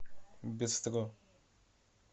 бистро